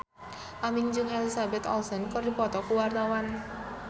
Aming jeung Elizabeth Olsen keur dipoto ku wartawan